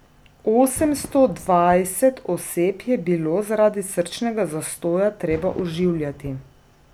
Osemsto dvajset oseb je bilo zaradi srčnega zastoja treba oživljati.